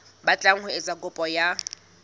batlang ho etsa kopo ya